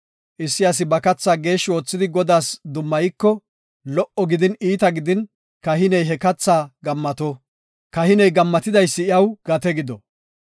Issi asi ba keethaa geeshshi oothidi Godaas dummayiko, lo77o gidin, iita gidin kahiney he keethaa gammato; kahiney gammatidaysi iyaw gate gido.